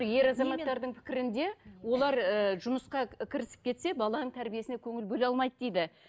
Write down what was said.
ер азаматтардың пікірінде олар ыыы жұмысқа кірісіп кетсе баланың тәрбиесіне көңіл бөле алмайды дейді